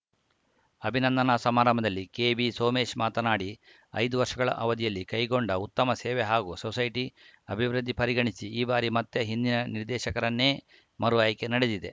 ಅಭಿನಂದನಾ ಸಮಾರಂಭದಲ್ಲಿ ಕೆಬಿ ಸೋಮೇಶ್‌ ಮಾತನಾಡಿ ಐದು ವರ್ಷಗಳ ಅವಧಿಯಲ್ಲಿ ಕೈಗೊಂಡ ಉತ್ತಮ ಸೇವೆ ಹಾಗೂ ಸೊಸೈಟಿ ಅಭಿವೃದ್ಧಿ ಪರಿಗಣಿಸಿ ಈ ಬಾರಿ ಮತ್ತೆ ಹಿಂದಿನ ನಿರ್ದೇಶಕರನ್ನೇ ಮರುಆಯ್ಕೆ ನಡೆದಿದೆ